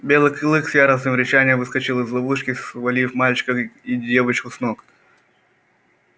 белый клык с яростным рычанием выскочил из ловушки свалив мальчика и девочку с ног